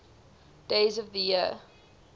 days of the year